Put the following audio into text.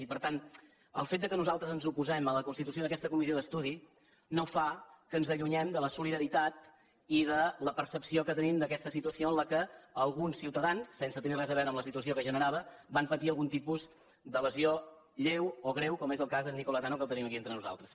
i per tant el fet que nosaltres ens oposem a la constitució d’aquesta comissió d’estudi no fa que ens allunyem de la solidaritat i de la percepció que tenim d’aquesta situació en la qual alguns ciutadans sense tenir res a veure amb la situació que es generava van patir algun tipus de lesió lleu o greu com és el cas d’en nicola tanno que el tenim aquí entre nosaltres